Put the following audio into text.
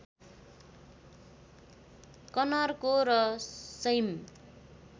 कनरको र सैम